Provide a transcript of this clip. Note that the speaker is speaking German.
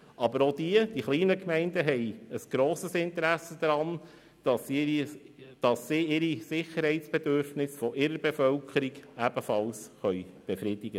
Aber auch die kleinen Gemeinden haben ein grosses Interesse daran, dass sie die Sicherheitsbedürfnisse ihrer Bevölkerung ebenfalls befrieden können.